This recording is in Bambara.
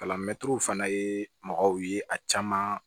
Kalan mɛtiriw fana ye mɔgɔw ye a caman